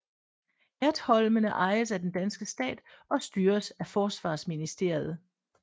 Ertholmene ejes af den danske stat og styres af Forsvarsministeriet